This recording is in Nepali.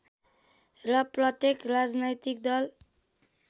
र प्रत्येक राजनैतिक दल